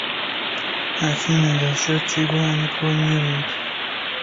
афина за счет чего они планируют